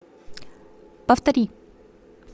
повтори